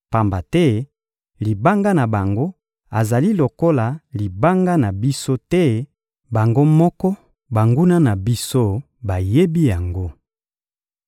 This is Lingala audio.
Pamba te Libanga na bango azali lokola libanga na biso te; bango moko banguna na biso bayebi yango.